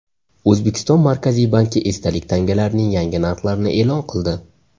O‘zbekiston Markaziy banki esdalik tangalarning yangi narxlarini e’lon qildi.